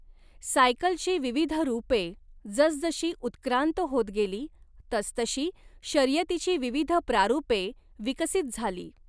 सायकलची विविध रूपे जसजशी उत्क्रांत होत गेली तसतशी शर्यतीची विविध प्रारूपे विकसित झाली.